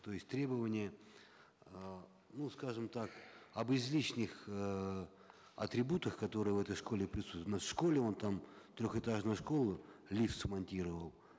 то есть требования э ну скажем так об излишних э атрибутах которые в этой школе у нас в школе вон там трехэтажная школа лифт смонтировал